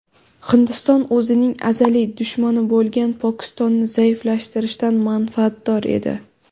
Hindiston o‘zining azaliy dushmani bo‘lgan Pokistonni zaiflashtirishdan manfaatdor edi.